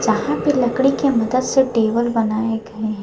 यहां पर लकड़ी के मदद से टेबल बनाए गए हैं।